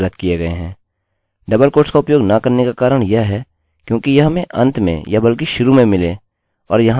double quotes का उपयोग न करने का कारण यह हैक्योंकि यह हमें अंत में या बल्कि शुरू में मिले और यहाँ खत्म हो रहे हैं